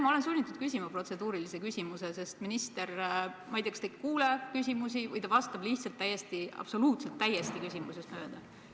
Ma olen sunnitud küsima protseduurilise küsimuse, sest minister, ma ei tea, kas ei kuule küsimusi või vastab lihtsalt absoluutselt täiesti küsimusest mööda.